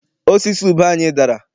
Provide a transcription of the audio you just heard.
Osisi ube anyị dara.